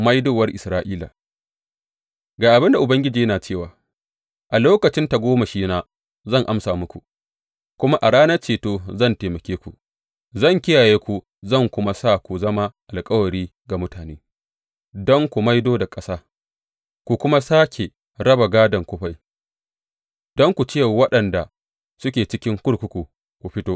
Maidowar Isra’ila Ga abin da Ubangiji yana cewa, A lokacin tagomashina zan amsa muku, kuma a ranar ceto zan taimake ku; zan kiyaye ku zan kuma sa ku zama alkawari ga mutane, don ku maido da ƙasa ku kuma sāke raba gādon kufai, don ku ce wa waɗanda suke cikin kurkuku, Ku fito,’